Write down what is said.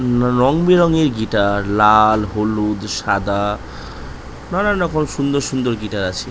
রং বে রং এর গিটার লাল হলুদ সাদা নানা রকম সুন্দর সুন্দর গিটার আছে।